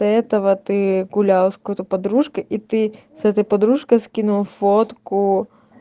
этого ты гуляла с какой-то подружка и ты с этой подружкой скинул фотку